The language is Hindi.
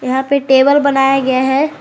यहां पर टेबल बनाया गया है।